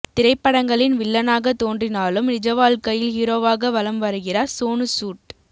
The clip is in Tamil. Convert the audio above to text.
திரைப்படங்களின் வில்லனாக தோன்றினாலும் நிஜ வாழ்க்கையில் ஹீரோவாக வலம் வருகிறார் சோனு சூட்